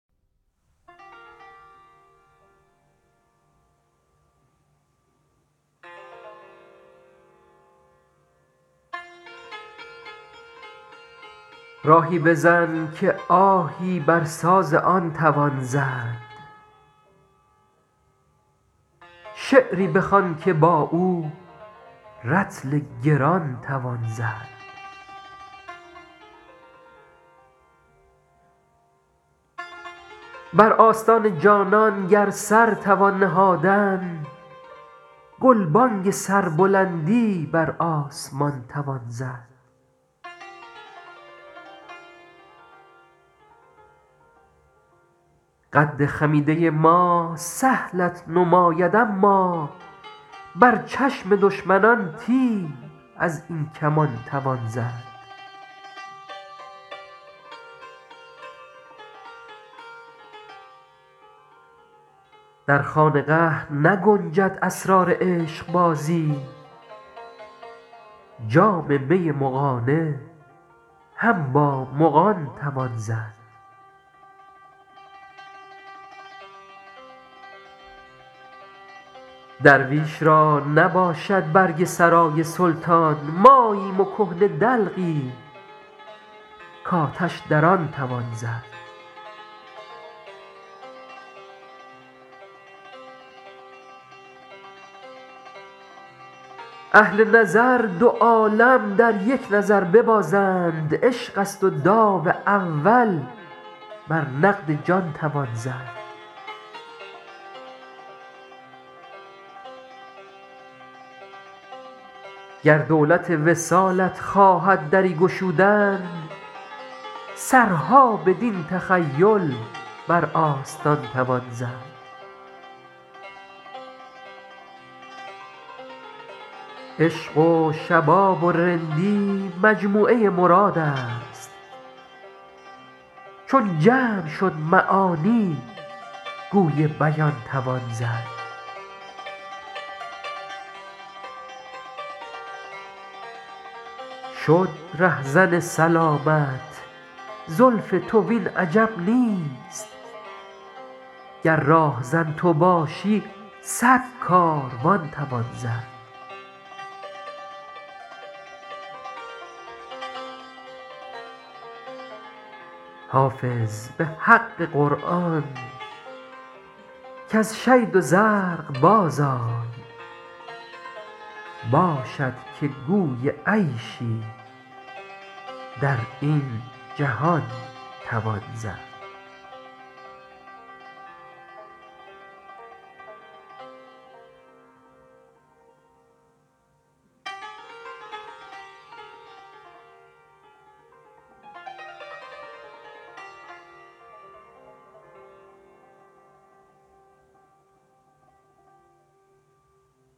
راهی بزن که آهی بر ساز آن توان زد شعری بخوان که با او رطل گران توان زد بر آستان جانان گر سر توان نهادن گلبانگ سربلندی بر آسمان توان زد قد خمیده ما سهلت نماید اما بر چشم دشمنان تیر از این کمان توان زد در خانقه نگنجد اسرار عشقبازی جام می مغانه هم با مغان توان زد درویش را نباشد برگ سرای سلطان ماییم و کهنه دلقی کآتش در آن توان زد اهل نظر دو عالم در یک نظر ببازند عشق است و داو اول بر نقد جان توان زد گر دولت وصالت خواهد دری گشودن سرها بدین تخیل بر آستان توان زد عشق و شباب و رندی مجموعه مراد است چون جمع شد معانی گوی بیان توان زد شد رهزن سلامت زلف تو وین عجب نیست گر راهزن تو باشی صد کاروان توان زد حافظ به حق قرآن کز شید و زرق بازآی باشد که گوی عیشی در این جهان توان زد